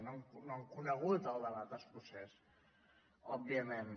no han conegut el debat escocès òbviament